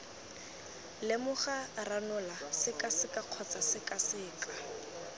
lemoga ranola sekaseka kgotsa sekaseka